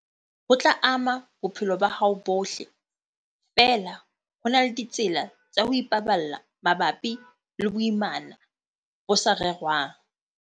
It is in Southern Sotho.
Ho tla ama bophelo ba hao bohle, feela ho na le ditsela tsa ho ipaballa mabapi le boimana bo sa rerwang.